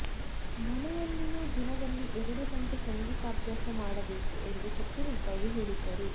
ಮನೆಯಲ್ಲಿಯೂ ದಿನದಲ್ಲಿ ಎರಡು ಗಂಟೆ ಸಂಗೀತಾಭ್ಯಾಸ ಮಾಡಬೇಕು ಎಂದು ಕಟ್ಟುನಿಟ್ಟಾಗಿ ಹೇಳಿದ್ದರು